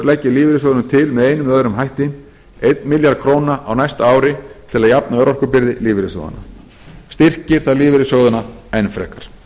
leggi lífeyrissjóðunum til með einum eða öðrum hætti einn milljarð króna á næsta ári til að jafna örorkubyrði lífeyrissjóðanna styrkir það lífeyrissjóðina enn frekar